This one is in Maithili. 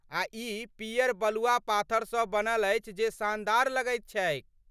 आ ई पियर बलुआ पाथरसँ बनल अछि जे शानदार लगैत छैक।